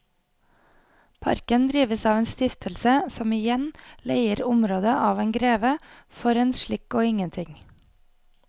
Parken drives av en stiftelse som igjen leier området av en greve for en slikk og ingenting.